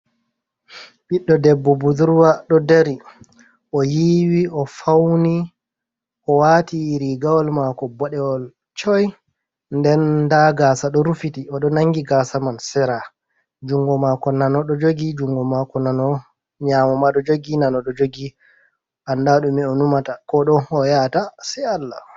Ɓiɗdo debbo budurwa ɗo dari .O yiiwi ,o fawni, o waati rigaawol maako boɗeewol coy. Nden ndaa gaasa ɗo rufiti, o ɗo nanngi gaasa man, sera junngo maako nano ɗo jogi, junngo maako nyaamo ma ɗo jogi ,annda ɗume o numata, ko ɗon haa o yahata say Allah.